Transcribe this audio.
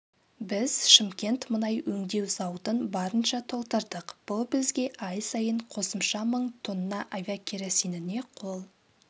біз шымкент мұнай өңдеу зауытын барынша толтырдық бұл бізге ай сайын қосымша мың тонна авиакеросиніне қол